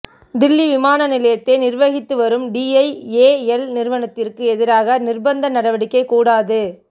தில்லி விமான நிலையத்தை நிா்வகித்துவரும் டிஐஏஎல் நிறுவனத்திற்கு எதிராக நிா்பந்த நடவடிக்கை கூடாது